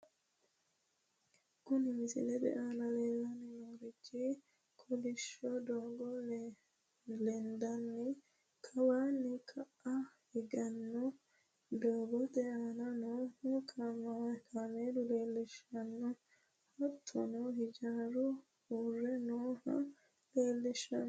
Kuni misilete aana leellanni noorichi kolishsho doogo lendanna kawanna ka''a higgannni doogote aana nooha kaameela leellishshanno, hattono hijaaru uurre nooha leellishshanno.